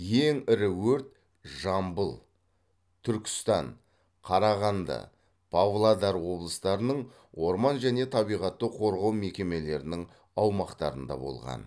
ең ірі өрт жамбыл түркістан қарағанды павлодар облыстарының орман және табиғатты қорғау мекемелерінің аумақтарында болған